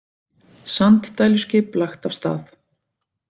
Sanddæluskip lagt af stað